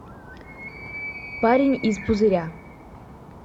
парень из пузыря